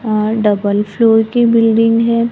अह double floor की building है।